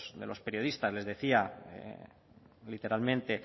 de los periodistas les decía literalmente